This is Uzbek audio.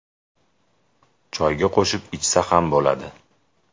Choyga qo‘shib, ichsa ham bo‘ladi.